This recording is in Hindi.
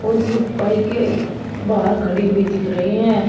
और कुछ बाइके के बाहर खड़ी हुई दिख रही है।